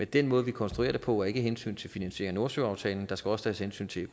den måde vi konstruerer det på er ikke af hensyn til at finansiere nordsøaftalen der skal også tages hensyn til